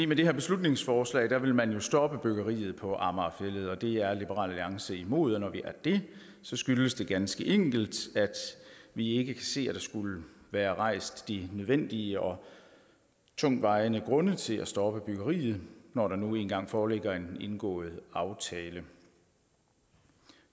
med det her beslutningsforslag vil man jo stoppe byggeriet på amager fælled og det er liberal alliance imod når vi er det skyldes det ganske enkelt at vi ikke ser at der skulle være rejst de nødvendige og tungtvejende grunde til at stoppe byggeriet når der nu engang foreligger en indgået aftale